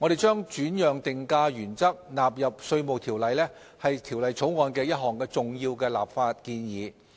將轉讓定價原則納入《稅務條例》是《條例草案》的一項重要立法建議。